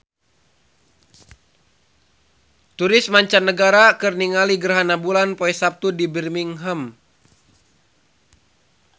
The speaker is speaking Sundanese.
Turis mancanagara keur ningali gerhana bulan poe Saptu di Birmingham